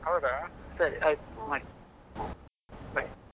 ಹೌದಾ ಸರಿ ಆಯ್ತ್ ಮಾಡಿ bye.